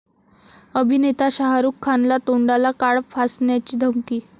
अभिनेता शाहरुख खानला तोंडाला काळं फासण्याची धमकी